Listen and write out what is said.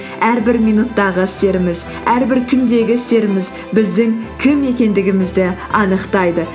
әрбір минуттағы істеріміз әрбір күндегі істеріміз біздің кім екендігімізді анықтайды